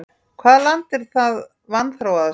Hvaða land er það vanþróaðasta í heimi?